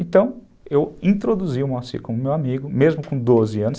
Então, eu introduzi o Moacir como meu amigo, mesmo com doze anos.